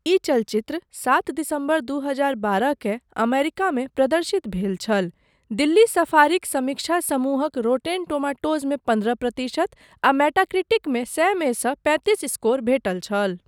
ई चलचित्र सात दिसम्बर दू हजार बारहकेँ अमेरिकामे प्रदर्शित भेल छल। दिल्ली सफारीक समीक्षा समूहक रॉटेन टोमाटोज़मे पन्द्रह प्रतिशत आ मेटाक्रिटिकमे सए मे सँ पैतीस स्कोर भेटल छल।